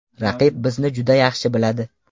Raqib bizni juda yaxshi biladi.